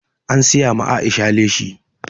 An siya ma Aisha leshi